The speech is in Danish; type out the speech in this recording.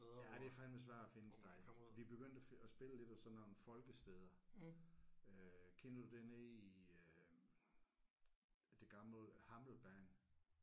Øh ja det er fandeme svært at finde et sted. Vi begyndte at finde at spille lidt og sådan nogle folkesteder øh kender du det nede i øh det gamle Hammelbane?